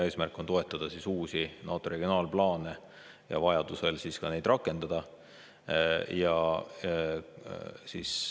Eesmärk on toetada uusi NATO regionaalplaane ja vajadusel neid ka rakendada.